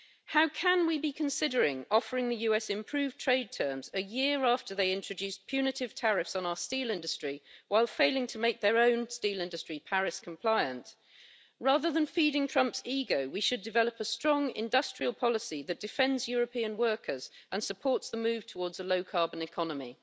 How can we be considering offering the US improved trade terms a year after they introduced punitive tariffs on our steel industry, while failing to make their own steel industry compliant with the Paris Agreement? Rather than feeding Trump's ego, we should develop a strong industrial policy that defends European workers and supports the move towards a low carbon economy.